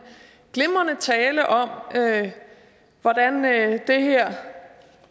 glimrende tale om at det her